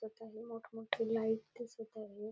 त आहे मोठं मोठे लाइट दिसत आहेत.